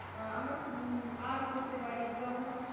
আমরা খুব earn করতে পারি বাঅন্য কিছু,